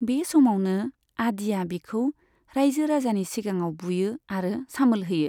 बे समावनो, आदिया बिखौ रायजो राजानि सिगाङाव बुयो आरो सामोल होयो।